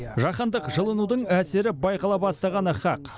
жаһандық жылынудың әсері байқала бастағаны хақ